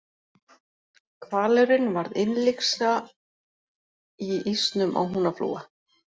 Hvalurinn varð innlyksa í ísnum á Húnaflóa.